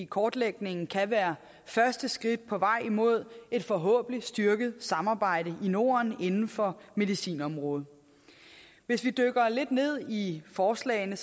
kortlægningen kan være første skridt på vej imod forhåbentlig at styrke samarbejdet i norden inden for medicinområdet hvis vi dykker lidt ned i forslagene